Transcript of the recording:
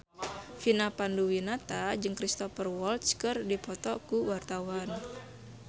Vina Panduwinata jeung Cristhoper Waltz keur dipoto ku wartawan